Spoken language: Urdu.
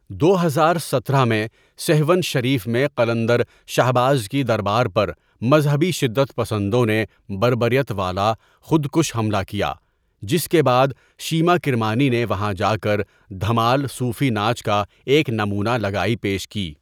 دو ہزار سترہ میں سیھون شریف میں قلندر شھباز کی دربار پر مذھبی شدت پسندوں نے بربریت والا خودکش حملہ کیا جس کے بعد شیما کرمانی نے وہاں جاکر دھمال صوفی ناچ کا ایک نمونہ لگائی پیش کی.